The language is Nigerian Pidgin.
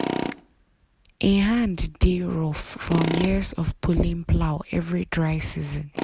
him hand dey rough from years of pulling plow every dry season.